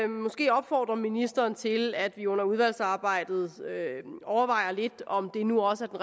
måske opfordre ministeren til at vi under udvalgsarbejdet overvejer lidt om det nu også